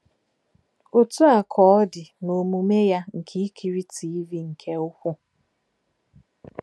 Otú a ka ọ dị n’omume ya nke ikiri Tiivii nke ukwuu.